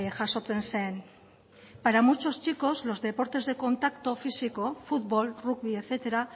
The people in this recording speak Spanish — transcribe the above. jasotzen zen para muchos chicos los deportes de contacto físico fútbol rugby etcétera